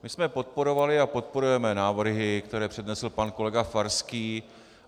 My jsme podporovali a podporujeme návrhy, které přednesl pan kolega Farský.